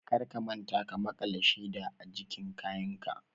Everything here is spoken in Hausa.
Kar ka manta ka makala sheda ajikin kayanka!